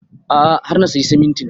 A'a har na sayi simintin